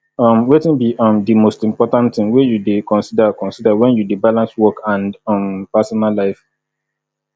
um wetin be um di most important thing wey you dey consider consider when you dey balance work and um personal life